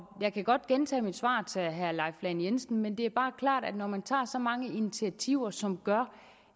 jeg kan godt gentage mit svar til herre leif lahn jensen men det er bare klart at det når man tager så mange initiativer som gør